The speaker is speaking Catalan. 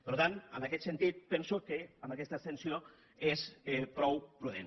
per tant en aquest sentit penso que amb aquesta abstenció és prou prudent